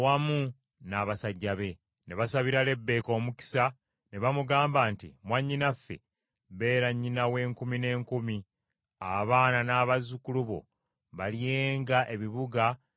Ne basabira Lebbeeka omukisa ne bamugamba nti, “Mwannyinaffe beera nnyina w’enkumi n’enkumi, abaana n’abazzukulu bo balyenga ebibuga by’abalabe baabwe.”